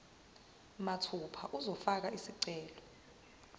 mathupha uzofaka isicelo